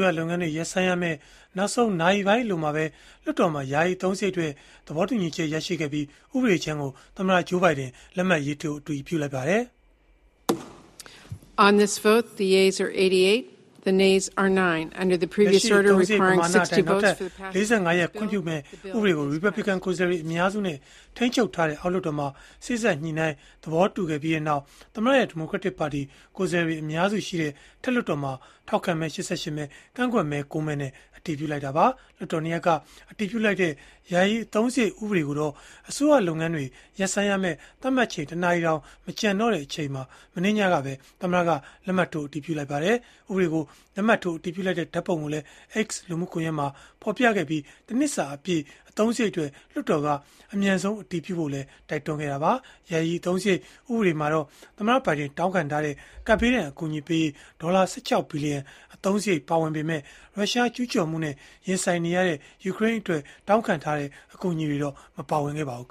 ရလုပ်ငန်းတွေ ရပ်ဆိုင်းရမယ့် နောက်ဆုံးနာရီပိုင်းအလိုမှာပဲ လွှတ်တော်မှာ ယာယီအသုံးစရိတ်အတွက် သဘောတူညီချက်ရခဲ့ပြီး ဥပဒေကြမ်းကို သမ္မတ Joe Biden လက်မှတ်ရေးထိုး အတည်ပြုလိုက်ပါတယ်။ လက်ရှိအသုံးစရိတ် ပမာဏအတိုင်း နောက်ထပ် ၄၅ ရက် ခွင့်ပြုမယ့်ဥပဒေကို ရီပတ်ဘလစ်ကန် ကိုယ်စားလှယ်အများစုနဲ့ ထိန်းချုပ်ထားတဲ့ အောက်လွှတ်တော်မှာ စေ့စပ်ညှိနှိုင်းသဘောတူခဲ့ပြီးနောက် သမ္မတရဲ့ဒီမိုကရက်တစ်ပါတီ ကိုယ်စားလှယ်အများစုရှိတဲ့ အထက်လွှတ်တော်မှာ ထောက်ခံမဲ ၈၈ မဲ၊ ကန့်ကွက်မဲ ၉ မဲနဲ့ အတည်ပြုလိုက်တာပါ။ လွှတ်တော် ၂ ရပ်က အတည်ပြုလိုက်တဲ့ ယာယီအသုံးစရိတ်ဥပဒေကိုတော့ အစိုးရလုပ်ငန်းတွေ ရပ်ဆိုင်းရမယ့် သတ်မှတ်ချိန် ၁ နာရီတောင် မကျန်တော့တဲ့အချိန် မနေ့ညကပဲ သမ္မတက လက်မှတ်ထိုး အတည်ပြုလိုက်ပါတယ်။ ဥပဒေကို လက်မှတ်ထိုးအတည်ပြုလိုက်တဲ့ဓာတ်ပုံကိုလည်း X လူမှုကွန်ရက်မှာ ဖော်ပြခဲ့ပြီး ၁ နှစ်စာအပြည့် အသုံးစရိတ်အတွက် လွှတ်တော်က အမြန်ဆုံး အတည်ပြုဖို့လည်း တိုက်တွန်းခဲ့တာပါ။ ယာယီအသုံးစရိတ် ဥပဒေမှာတော့ သမ္မတဘိုင်ဒန် တောင်းခံထားတဲ့ ကပ်ဘေးဒဏ် အကူအညီပေးရေး ဒေါ်လာ ၁၆ ဘီလီယံ အသုံးစရိတ်ပါဝင်ပေမဲ့ ရုရှားကျူးကျော်မှုနဲ့ရင်ဆိုင်နေရတဲ့ ယူကရိန်းအတွက် အကူအညီပေးဖို့တော့ မပါဝင်ခဲ့ပါဘူး